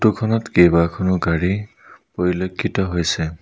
Photo খনত কেবাখনো গাড়ী পৰিলক্ষিত হৈছে।